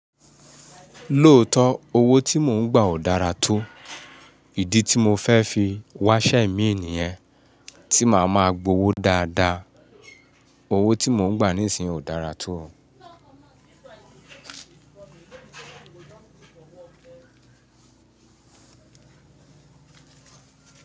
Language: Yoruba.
Lóòótọ́ owó tí mò ń gbà ò dára tó, ìdí tí mo fẹ́ fi wá ṣẹ́ míìnì yẹn tí màá máa gbowó dáadáa. Owó tí mò ń gbà níìsín ò dára tó.